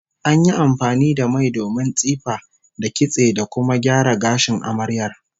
An yi amfani da mai domin tsife, da kitse, da kuma gyara gashin amaryar